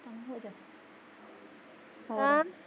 ਹੋਰ